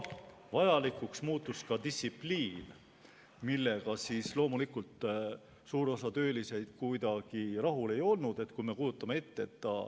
Vajalikuks muutus distsipliin, millega loomulikult suur osa töölisi kuidagi rahul ei olnud.